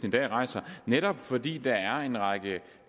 i dag rejser netop fordi der er en række